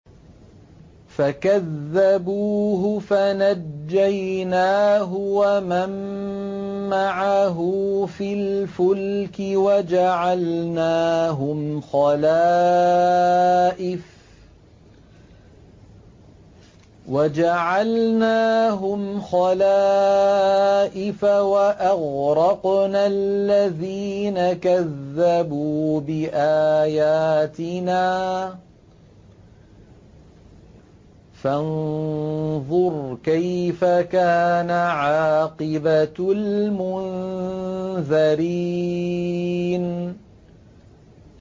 فَكَذَّبُوهُ فَنَجَّيْنَاهُ وَمَن مَّعَهُ فِي الْفُلْكِ وَجَعَلْنَاهُمْ خَلَائِفَ وَأَغْرَقْنَا الَّذِينَ كَذَّبُوا بِآيَاتِنَا ۖ فَانظُرْ كَيْفَ كَانَ عَاقِبَةُ الْمُنذَرِينَ